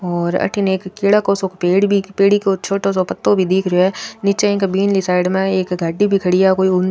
और अठीने एक केला को सो पेड़ भी पेड़ी को छोटो सो पत्तो भी दिख रियो है निचे एक बिनली साइड में एक गाड़ी भी खड़ी है आ कोई --